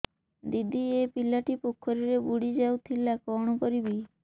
ଦିଦି ଏ ପିଲାଟି ପୋଖରୀରେ ବୁଡ଼ି ଯାଉଥିଲା କଣ କରିବି